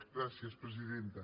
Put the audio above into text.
gràcies presidenta